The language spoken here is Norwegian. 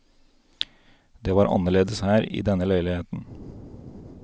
Det var annerledes her, i denne leiligheten.